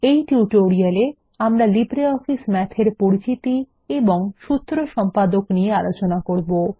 এই টিউটোরিয়ালে আমরা লিব্রিঅফিস Math এর পরিচিতি এবং সূত্র সম্পাদক নিয়ে আলোচনা করবো